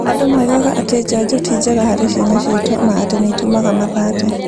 Andũ moigaga atĩ njanjo ti njega harĩ ciana citũ na atĩ nĩ itũmaga mathate.